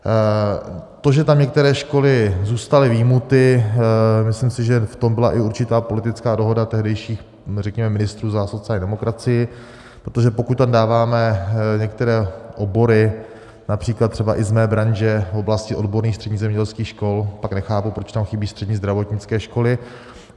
To, že tam některé školy zůstaly vyjmuty, myslím si, že v tom byla i určitá politická dohoda tehdejších, řekněme, ministrů za sociální demokracii, protože pokud tam dáváme některé obory, například třeba i z mé branže, v oblasti odborných středních zemědělských škol, pak nechápu, proč tam chybí střední zdravotnické školy.